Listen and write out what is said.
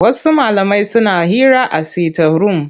Wasu malamai suna hira a sitaf-rum.